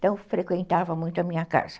Então, frequentava muito a minha casa.